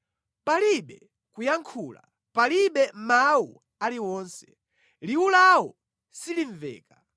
Palibe kuyankhula, palibe mawu aliwonse; liwu lawo silimveka.